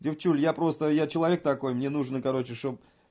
девчули я просто я человек такой мне нужно короче чтоб